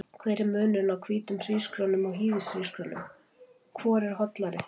Hver er munurinn á hvítum hrísgrjónum og hýðishrísgrjónum, hvor eru hollari?